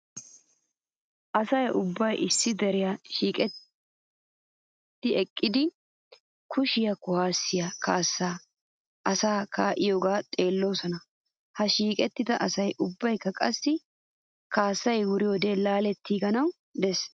Asay ubbay issi diran shiiqetti eqqidi kushiyaa kuwaasiyaa kaassaa asay kaa'iyoogaa xeelloosona. He shiiqettida asay ubbaykka qassi kaassay wuriyoode laalettiiganaw des.